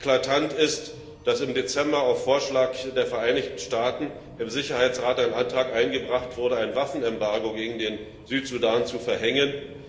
Eklatant ist, dass im Dezember auf Vorschlag der Vereinigten Staaten im Sicherheitsrat ein Antrag eingebracht wurde, ein Waffenembargo gegen den Südsudan zu verhängen.